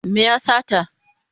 Me ya sata?